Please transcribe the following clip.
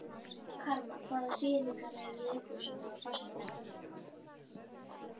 Karma, hvaða sýningar eru í leikhúsinu á föstudaginn?